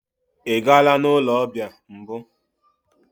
Ị gaala n'ụlọ ọbịa mbụ?